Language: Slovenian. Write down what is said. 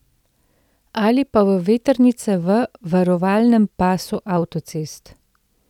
Ali pa v vetrnice v varovalnem pasu avtocest.